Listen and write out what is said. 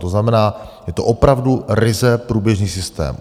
To znamená, je to opravdu ryze průběžný systém.